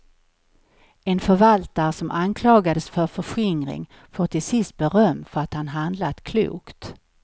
En förvaltare som anklagades för förskringring får till sist beröm för att han handlat klokt.